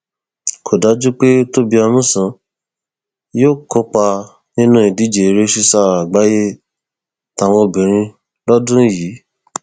kò dájú pé tóbi amusan yóò kópa nínú ìdíje eré sísá àgbáyé táwọn obìnrin lọdún yìí